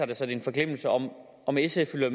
det så er en forglemmelse om om sf vil